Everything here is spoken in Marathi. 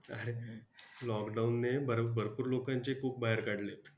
अरे lockdown ने भर~भरपूर लोकांचे cook बाहेर काढलेत!